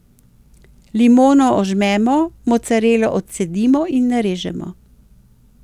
Limono ožmemo, mocarelo odcedimo in narežemo.